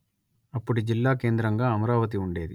అప్పుడు జిల్లా కేంద్రగా అమరావతి ఉండేది